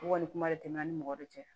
Wali kuma de tɛmɛna ni mɔgɔ de cɛ